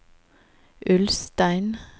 Ulstein